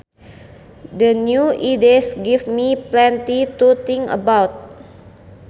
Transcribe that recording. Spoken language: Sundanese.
The new ideas give me plenty to think about